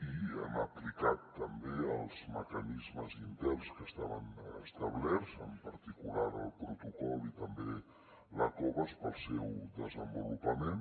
i hem aplicat també els mecanismes interns que estaven establerts en particular el protocol i també la covas per al seu desenvolupament